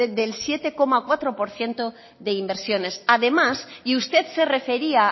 del siete coma cuatro por ciento de inversiones además y usted se refería